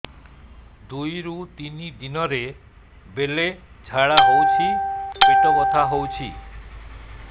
ଦୁଇରୁ ତିନି ଦିନରେ ବେଳେ ଝାଡ଼ା ହେଉଛି ପେଟ ବଥା ହେଉଛି